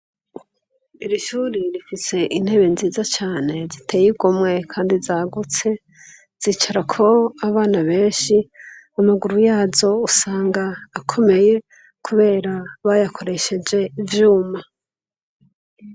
Iri shuri rifitse intebe nziza cane ziteye igomwe, kandi zagutse zicara ko abana benshi amaguru yazo usanga akomeye, kubera bayakoresheje ivyuma.